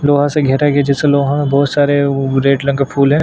लोहा से घेरा गया है जैसे लोहा में बोहत सारे वो रेड रंग के फूल है।